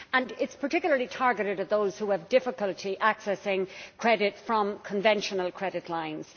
It is particularly targeted at those who have difficulty accessing credit from conventional credit lines.